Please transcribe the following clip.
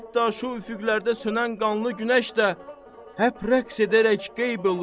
Hətta şu üfüqlərdə sönən qanlı günəş də həp rəqs edərək qeyb eliyor.